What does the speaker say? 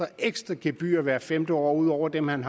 et ekstra gebyr hvert femte år ud over dem han